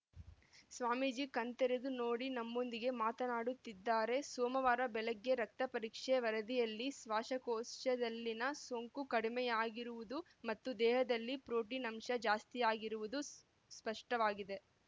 ಸ್ವಾಮೀಜಿ ಕಣ್ತೆರೆದು ನೋಡಿ ನಮ್ಮೊಂದಿಗೆ ಮಾತನಾಡುತ್ತಿದ್ದಾರೆ ಸೋಮವಾರ ಬೆಳಗ್ಗೆ ರಕ್ತಪರೀಕ್ಷೆ ವರದಿಯಲ್ಲಿ ಶ್ವಾಸಕೋಶದಲ್ಲಿನ ಸೋಂಕು ಕಡಿಮೆಯಾಗಿರುವುದು ಮತ್ತು ದೇಹದಲ್ಲಿ ಪ್ರೊಟೀನ್‌ ಅಂಶ ಜಾಸ್ತಿ ಆಗಿರುವುದು ಸ್ಪ ಸ್ಪಷ್ಟವಾಗಿದೆ